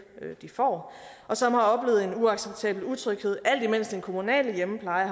de får og som har oplevet en uacceptabel utryghed alt imens den kommunale hjemmepleje